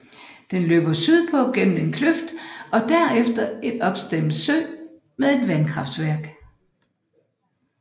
Den løber sydpå gennem en kløft og derefter en opstemmet sø med et vandkraftværk